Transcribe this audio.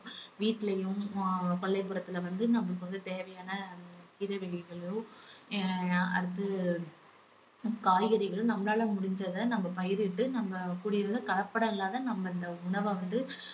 வீட்லயும் அஹ் கொல்லைபுறத்துல வந்து நம்ம வந்து தேவையான கீரை வகைகளோ ஆஹ் அடுத்து காய்கறிகளோ நம்மளால முடிஞ்சத நம்ம பயிரிட்டு நம்ம கூடிய வரைக்கும் கலப்படம் இல்லாத நம்ம இந்த உணவ வந்து